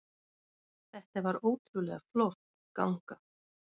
Þetta var ótrúlega flott ganga